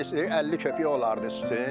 Litr 50 qəpik olardı üstü.